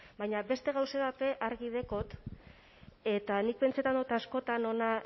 baina beste gauza bat be argi dekot eta nik pentsetan dot askotan hona